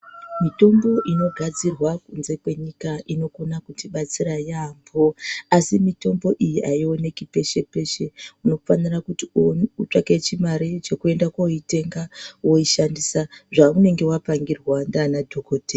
Mitombo igadzirwa kunzekwenyika inokona kutibatsira yambo asi ayionekipeshepeshe unofanira kuti utsvake chimare chekuenda koitenga woishandisa zvaunengewapangirwa nanadhokodheya